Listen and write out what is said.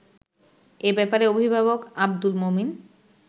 এ ব্যাপারে অভিভাবক আব্দুল মমিন